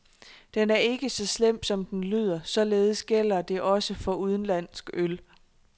Den er ikke så slem, som den lyder, således gælder det også for udenlandsk øl.